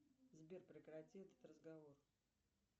сбер прекрати этот разговор